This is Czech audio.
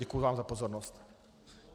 Děkuji vám za pozornost.